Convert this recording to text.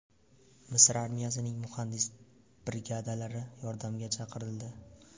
Misr armiyasining muhandis brigadalari yordamga chaqirildi.